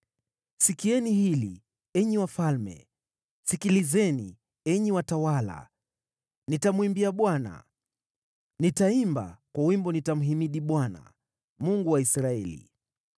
“Sikieni hili, enyi wafalme! Sikilizeni, enyi watawala! Nitamwimbia Bwana , nitaimba; kwa wimbo nitamhimidi Bwana , Mungu wa Israeli.